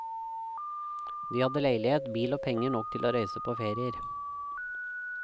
De hadde leilighet, bil og penger nok til å reise på ferier.